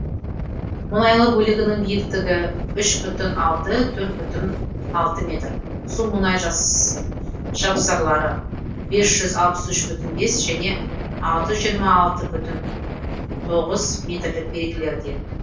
мұнайлы бөлігінің биіктігі үш бүтін алты төрт бүтін алты метр су мұнай жапсарлары бес жүз алпыс үш бүтін бес және алты жүз жиырма алты бүтін тоғыз метрлік белгілерде